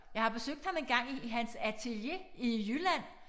Jeg har besøgt ham engang i i hans atelier i Jylland